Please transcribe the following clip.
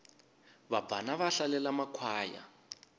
vabvana va hlalele makhwaya